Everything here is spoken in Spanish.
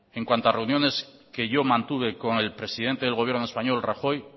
en cuanto a reuniones que yo mantuve con el presidente del gobierno español rajoy